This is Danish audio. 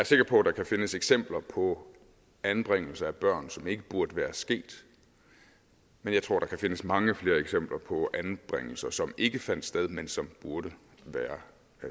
sikker på der kan findes eksempler på anbringelser af børn som ikke burde være sket men jeg tror der kan findes mange flere eksempler på anbringelser som ikke fandt sted men som burde være